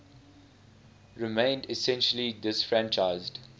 remained essentially disfranchised